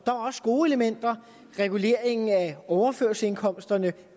også gode elementer reguleringen af overførselsindkomsterne